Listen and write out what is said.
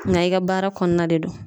Nga i ka baara kɔnɔna de don.